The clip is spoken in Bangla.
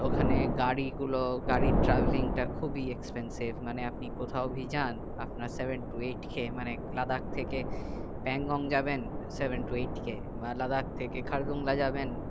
ওখানে গাড়ি গুলো গাড়ির traveling তা খুবই expensive মানে আপনি কোথায় বা যান আপনার seven to eight k মানে লাদাখ থেকে প্যাংগং যাবেন seven to eight k মানে লাদাখ থেকে খারদুংলা যাবেন